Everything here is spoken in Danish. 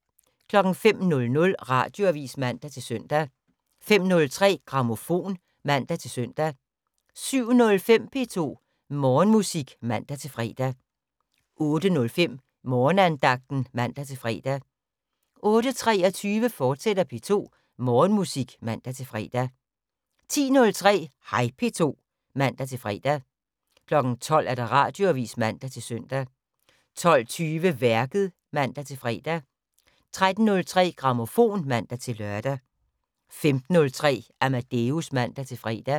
05:00: Radioavis (man-søn) 05:03: Grammofon (man-søn) 07:05: P2 Morgenmusik (man-fre) 08:05: Morgenandagten (man-fre) 08:23: P2 Morgenmusik, fortsat (man-fre) 10:03: Hej P2 (man-fre) 12:00: Radioavis (man-søn) 12:20: Værket (man-fre) 13:03: Grammofon (man-lør) 15:03: Amadeus (man-fre)